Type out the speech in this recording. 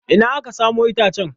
Ina aka samo itacen?